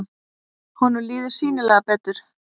Honum líður sýnilega betur.